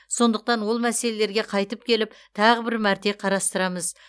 сондықтан ол мәселелерге қайтып келіп тағы бір мәрте қарастырамыз